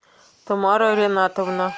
тамара ренатовна